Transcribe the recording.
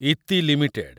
Iti limited